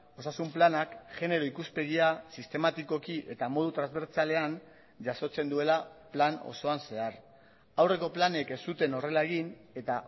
osasun planak genero ikuspegia sistematikoki eta modu transbertsalean jasotzen duela plan osoan zehar aurreko planek ez zuten horrela egin eta